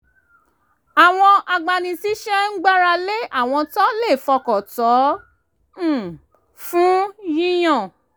àwọn agbani-síṣẹ́ ń gbára lé àwọn tó fọkàn tán um fún yíyan